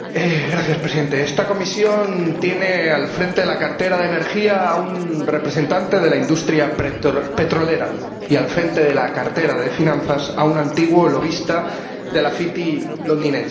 Señor Presidente, esta Comisión tiene al frente de la cartera de Energía a un representante de la industria petrolera y al frente de la cartera de Finanzas a un antiguo lobista de la City londinense.